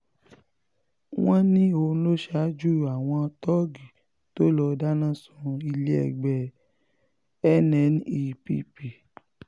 wọ́n ní òun ló ṣaájú àwọn tóògì tó lọ́ọ́ dáná sun ilé-ẹgbẹ́ nnepp